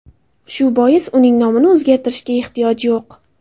Shu bois uning nomini o‘zgartirishga ehtiyoj yo‘q.